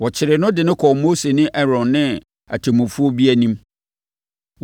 Wɔkyeree no de no kɔɔ Mose ne Aaron ne atemmufoɔ bi anim.